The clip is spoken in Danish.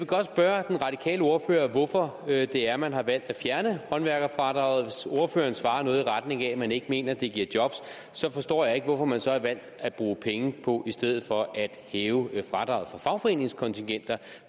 godt spørge den radikale ordfører hvorfor det er man har valgt at fjerne håndværkerfradraget hvis ordføreren svarer noget i retning af at man ikke mener det giver job så forstår jeg ikke hvorfor man så har valgt at bruge penge på i stedet for at hæve fradraget for fagforeningskontingenter